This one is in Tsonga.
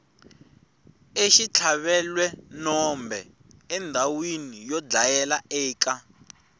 exitlhavelwenombe endhawina yo dlayela eka